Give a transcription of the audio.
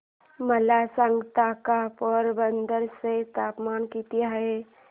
मला सांगता का पोरबंदर चे तापमान किती आहे